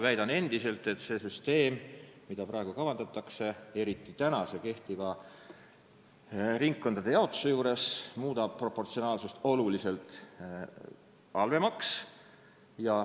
Väidan endiselt, et see süsteem, mida praegu kavandatakse, eriti kehtiva ringkondade jaotuse juures, muudab proportsionaalsuse oluliselt halvemaks.